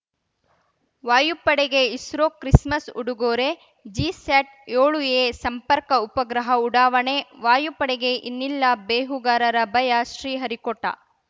ವಾಯುಪಡೆಗೆ ISRO Christmas ಉಡುಗೊರೆ ಜಿಸ್ಯಾಟ್‌ಯೋಳುಎ ಸಂಪರ್ಕ ಉಪಗ್ರಹ ಉಡಾವಣೆ ವಾಯುಪಡೆಗೆ ಇನ್ನಿಲ್ಲ ಬೇಹುಗಾರರ ಭಯ ಶ್ರೀಹರಿಕೋಟ